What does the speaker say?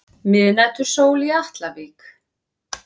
Miðnætursól í Atlavík.